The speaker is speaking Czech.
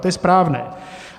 To je správné.